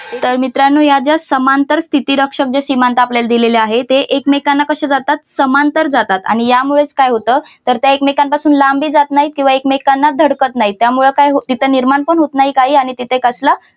तर मित्रांनो या ज्या समांतर स्थिती रक्षक ज्या सीमांत आपल्याला दिलेले आहेत ते एकमेकांना कसे जातात समांतर जातात आणि यामुळेच काय होतं तर त्या एकमेकांपासून लांब जात नाहीत आणि एकमेकांना धडकत नाही त्यामुळे काय होतं तिथे निर्माण पण होत नाही काही आणि तिथे कसलं